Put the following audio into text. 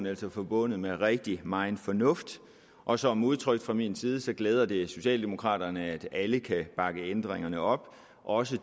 altså forbundet med rigtig megen fornuft og som udtrykt fra min side glæder det socialdemokraterne at alle kan bakke ændringerne op også